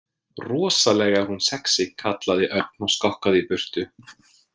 Rosalega er hún sexí kallaði Örn og skokkaði í burtu.